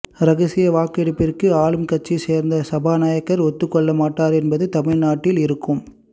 ரகசிய வாக்கெடுப்பிற்கு ஆளும் கட்சியை சேர்ந்த சபாநாயகர் ஒத்துக் கொள்ள மாட்டார் என்பது தமிழ்நாட்டில் இருக்கும்